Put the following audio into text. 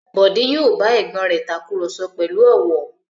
Bọ̀dé yóò bá ẹ̀gbọ́n rẹ̀ takùrọ̀sọ pẹ̀lú ọ̀wọ̀.